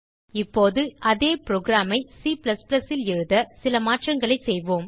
இப்போது அதே புரோகிராம் ஐ C ல் எழுத சில மாற்றங்களை செய்வோம்